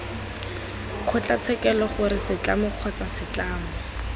kgotlatshekelo gore setlamo kgotsa setlamo